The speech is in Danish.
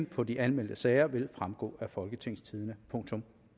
på de anmeldte sager vil fremgå af folketingstidende